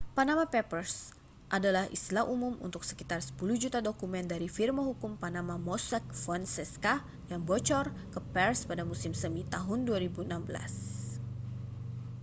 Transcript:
panama papers adalah istilah umum untuk sekitar sepuluh juta dokumen dari firma hukum panama mossack fonseca yang bocor ke pers pada musim semi tahun 2016